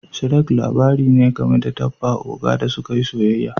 Shrek' labari ne game da dabba oga da suka yi soyayya.